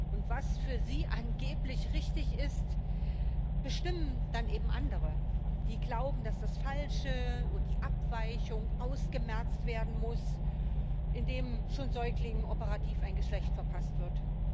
Und was für sie angeblich richtig ist, bestimmen dann eben andere, die glauben, dass das Falsche und die Abweichung ausgemerzt werden muss, indem schon Säuglingen operativ ein Geschlecht verpasst wird.